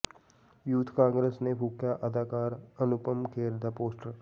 youth Congress ਨੇ ਫੂਕਿਆ ਅਦਾਕਾਰ ਅਨੁਪਮ ਖੇਰ ਦਾ ਪੋਸਟਰ